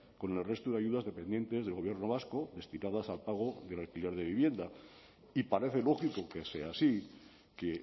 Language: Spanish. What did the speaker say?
con el resto de ayudas dependientes del gobierno vasco destinadas al pago del alquiler de vivienda y parece lógico que sea así que